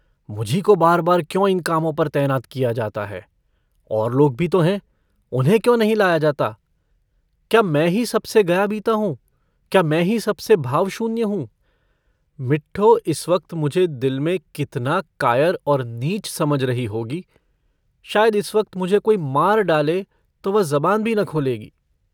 मुझी को बारबार क्यों इन कामों पर तैनात किया जाता है और लोग भी तो हैं उन्हें क्यों नहीं लाया जाता क्या मैं ही सबसे गयाबीता हूँ क्या मैं ही सबसे भावशून्य हूँ मिठ्ठो इम वक्त मुझे दिल में कितना कायर और नीच समझ रही होगी शायद इस वक्त मुझे कोई मार डाले तो वह जबान भी न खोलेगी।